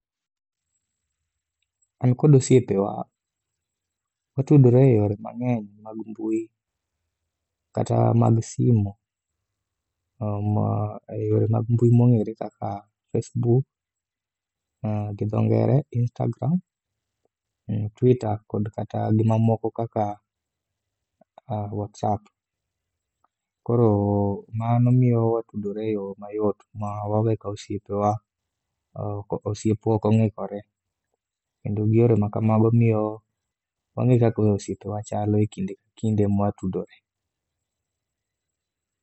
An kod osiepewa watudore e yore mang'eny mag mbui kata mag simo e yore mag mbui mong'ere kaka facebook, gi dho ngere, instagram, twitter kod kata gimamoko kaka whatsapp. Koro mano miyo watudore e yo mayot ma wawe ka osiepwa ok ong'ikore kendo gi yore makamago miyo wang'e kaka osiepewa chalo e kinde ka kinde ma watudore.